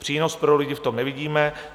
Přínos pro lidi v tom nevidíme.